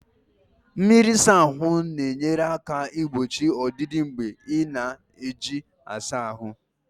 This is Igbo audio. Mmiri ịsa ahụ na-enyere aka igbochi ọdịda mgbe ị na-eji ịsa ahụ